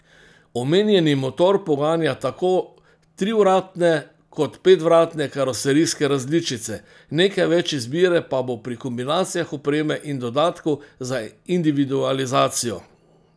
Omenjeni motor poganja tako trivratne kot petvratne karoserijske različice, nekaj več izbire pa bo pri kombinacijah opreme in dodatkov za individualizacijo.